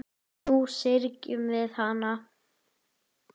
Nú syrgjum við hana.